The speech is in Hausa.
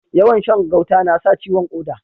Yawan Shan gauta nasa ciwon koda